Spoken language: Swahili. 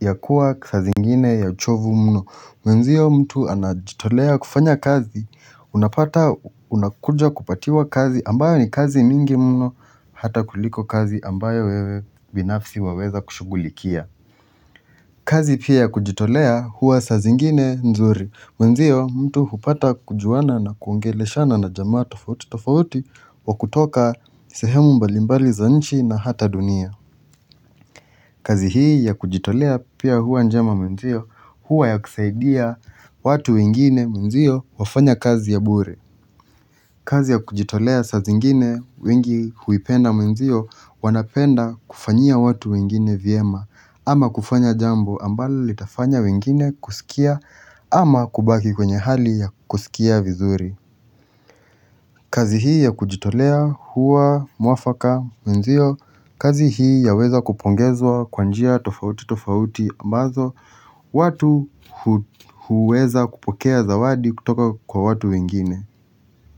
ya kuwa sa zingine ya uchovu mno. Mwenzio mtu anajitolea kufanya kazi unapata unakuja kupatiwa kazi ambayo ni kazi mingi mno hata kuliko kazi ambayo wewe binafsi waweza kushugulikia. Kazi pia kujitolea huwa sa zingine nzuri. Mwenzio mtu hupata kujuana na kuongele shana na jamaa tofauti tofauti wa kutoka sehemu mbalimbali za nchi na hata dunia. Kazi hii ya kujitolea pia huwa njema mwenzio huwa ya kusaidia watu wengine mwenzio wafanya kazi ya bure. Kazi ya kujitolea sa zingine wengi huipenda mwenzio wanapenda kufanyia watu wengine viema ama kufanya jambo ambala litafanya wengine kusikia ama kubaki kwenye hali ya kusikia vizuri. Kazi hii ya kujitolea huwa muafaka mwenzio kazi hii ya weza kupongezwa kwanjia tofauti tofauti ambazo watu huweza kupokea zawadi kutoka kwa watu wengine.